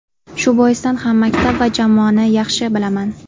Shu boisdan ham maktab va jamoani yaxshi bilaman.